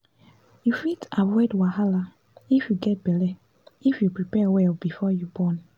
you fit avoid wahala if you get belle if you prepare well before you born